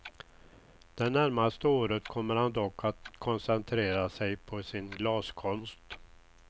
Det närmaste året kommer han dock att koncentrera sig på sin glaskonst.